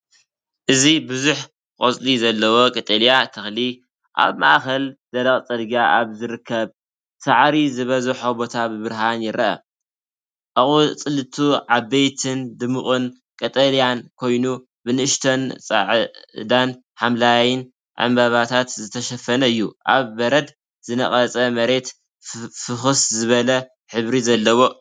እዚ ብዙሕ ቆጽሊ ዘለዎ ቀጠልያ ተኽሊ ኣብ ማእከል ደረቕ ጽርግያ ኣብ ዝርከብ ሳዕሪ ዝበዝሖ ቦታ ብብርሃን ይርአ። ኣቝጽልቱ ዓበይትን ድሙቕ ቀጠልያን ኮይኑ፡ብንኣሽቱ ጻዕዳን ሐምላይን ዕምባባታት ዝተሸፈነ እዩ። ኣብ በረድ ዝነቐጸ መሬት ፍኹስ ዝበለ ሕብሪ ዘለዎ እዩ።